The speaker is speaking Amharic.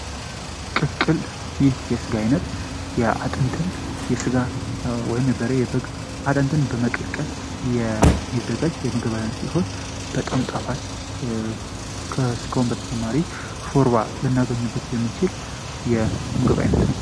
ቅቅል የስጋ ዓይነት ከአጥንት ወይም የበሬ ስጋ ወይም የበግን በመቀቀል የሚዘጋጅ የስጋ አይነት ሲሆን በጣም ጣፋጭ ከስጋው በተጨማሪ ሾርባ ልናገኝበት የምንችል የምግብ አይነት ነው።